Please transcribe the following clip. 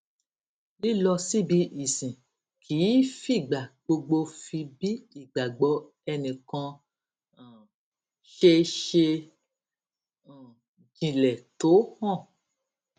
lílọ síbi ìsìn kì í fìgbà gbogbo fi bí ìgbàgbọ ẹnì kan um ṣe ṣe um jinlè tó hàn